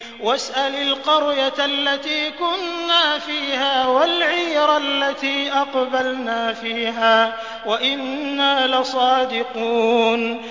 وَاسْأَلِ الْقَرْيَةَ الَّتِي كُنَّا فِيهَا وَالْعِيرَ الَّتِي أَقْبَلْنَا فِيهَا ۖ وَإِنَّا لَصَادِقُونَ